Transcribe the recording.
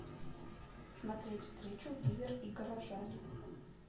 смотреть встречу ливер и горожане